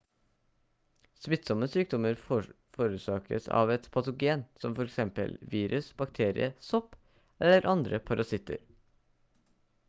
smittsomme sykdommer forårsakes av et patogen som f.eks virus bakterie sopp eller andre parasitter